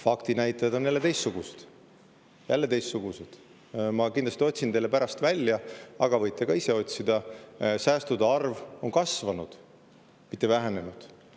Faktinäitajad on teistsugused – ma kindlasti otsin teile need pärast välja, aga võite ka ise otsida –, nende järgi on säästude arv kasvanud, mitte vähenenud.